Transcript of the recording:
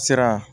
Sira